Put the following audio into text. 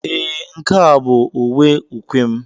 Ee, nke a bụ uwe ukwe m.